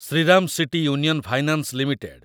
Shriram city union finance limited